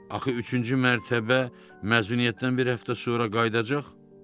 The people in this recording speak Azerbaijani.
Axı üçüncü mərtəbə məzuniyyətdən bir həftə sonra qayıdacaq?